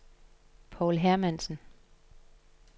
Povl Hermansen